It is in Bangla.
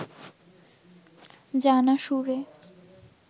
জানা সুরে